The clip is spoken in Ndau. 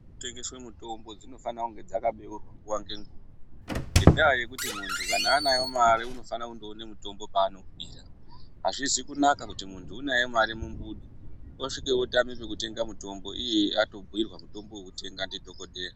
Munotengeswe mitombo dzinofanira kunga dzakabeurwa nguva nenguva. Ngendaa yakuti muntu kana anayo mari unofana kundoone mutombo paunoudira hazvizi kunaka kuti muntu unayo mari mumbudu, osvika otame pekutenga mitombo iye atombuirwa mutombo vekutenga ndidhogodheya.